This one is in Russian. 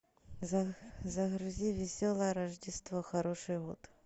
загрузи веселое рождество хороший год